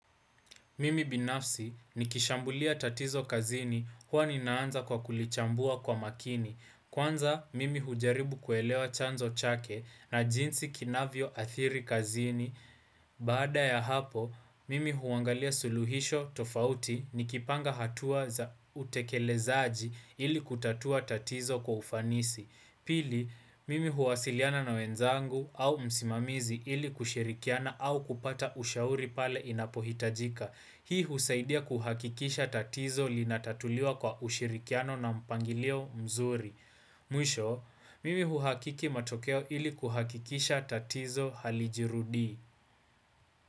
Mimi binafsi ni kishambulia tatizo kazini hua ninaanza kwa kulichambua kwa makini. Kwanza, mimi hujaribu kuelewa chanzo chake na jinsi kinavyo atiri kazini. Baada ya hapo, mimi huangalia suluhisho tofauti ni kipanga hatua za utekelezaaji ili kutatua tatizo kwa ufanisi. Pili, mimi huwasiliana na wenzangu au msimamizi ili kushirikiana au kupata ushauri pale inapohitajika. Hii husaidia kuhakikisha tatizo linatatuliwa kwa ushirikiano na mpangilio mzuri. Mwisho, mimi huhakiki matokeo ili kuhakikisha tatizo halijirudi.